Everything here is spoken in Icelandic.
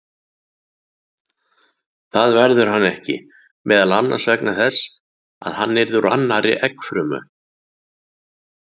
Það verður hann ekki, meðal annars vegna þess að hann yrði úr annarri eggfrumu.